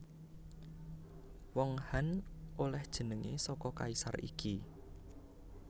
Wong Han olèh jenengé saka kaisar iki